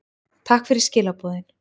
Takk fyrir skilaboðin.